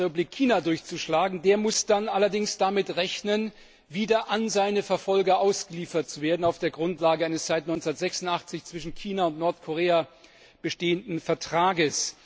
in die Volksrepublik China durchzuschlagen, der muss dann allerdings damit rechnen, wieder an seine Verfolger ausgeliefert zu werden auf der Grundlage eines seit 1986 zwischen China und Nordkorea bestehenden Vertrages.